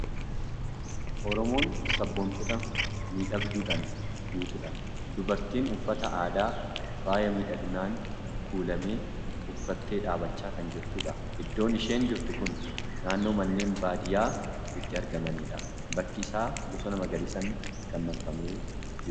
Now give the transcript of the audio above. Oromoon sabboontota miidhagduudhaan guutuudha. Dubartiin uffata aadaa faaya miidhaginaan kuulame uffattee dhaabachaa kan jirtudha. Iddoon isheen jirtu kun naannoo manneen baadiyyaa itti argamanidha. Bakki isaa bosona magariisaan kan marfamee jirudha.